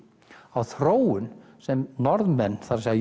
á þróun sem Norðmenn það er